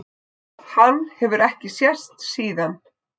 Hann hefur ekki sést síðan!